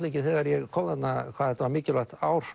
ekki þegar ég kom þarna hvað þetta var mikilvægt ár